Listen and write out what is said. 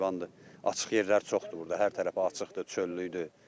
Açıq yerləri çoxdur burda, hər tərəfi açıqdır, çöllüdür.